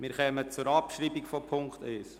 Wir kommen zur Abschreibung von Punkt 1.